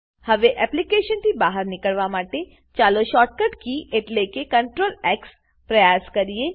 હવે એપ્લીકેશનથી બહાર નીકળવા માટે ચાલો શોર્ટકટ કી એટલે કે Ctrl એક્સ પ્રયાસ કરીએ